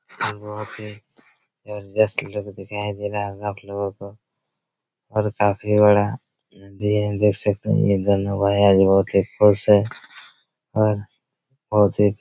बहुत ही जबरदस्त लुक दिखाई दे रहा होगा आप लोगो को और काफी बड़ा नदी है देख सकते है ये दोनो भाई आज बहुत ही खुश है और बहुत ही--